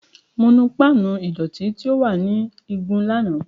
Mo nu pan ìdọ̀tí tí ó wà ní igun lánàá.